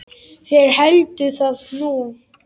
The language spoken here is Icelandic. Þeir héldu það nú.